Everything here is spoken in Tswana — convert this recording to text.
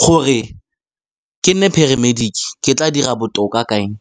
Gore ke nne paramedic-ke, ke tla dira botoka ka eng?